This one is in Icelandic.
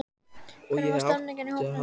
En hvernig var stemningin í hópnum í nótt?